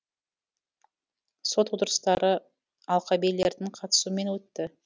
сот отырыстары алқа билердің қатысуымен өтті